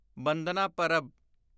ਬੰਦਨਾ ਪਰਬ